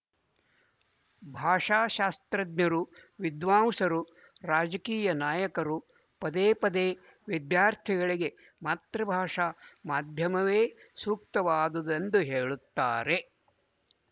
ಭಾಷಾಶಾಸ್ತ್ರಜ್ಞರು ವಿದ್ವಾಂಸರು ರಾಜಕೀಯ ನಾಯಕರು ಪದೇಪದೇ ವಿದ್ಯಾರ್ಥಿಗಳಿಗೆ ಮಾತೃಭಾಷಾ ಮಾಧ್ಯಮವೇ ಸೂಕ್ತವಾದುದೆಂದು ಹೇಳುತ್ತಾರೆ